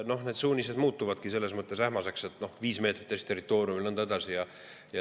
No need suunised muutuvadki selles mõttes ähmaseks, et viis meetrit Eesti territooriumist ja nõnda edasi.